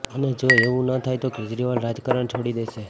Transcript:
અને જો એવું ન થાય તો કેજરીવાલ રાજકારણ છોડી દેશે